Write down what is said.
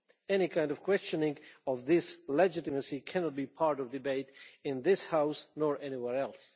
Any kind of questioning of this legitimacy cannot be part of a debate in this House or anywhere else.